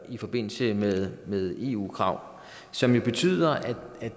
i forbindelse med eu krav som jo betyder at